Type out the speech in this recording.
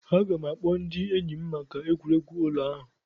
Aga m ga-akpọ ndị enyi m maka egwuregwu ụlọ ahụ.